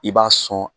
I b'a sɔn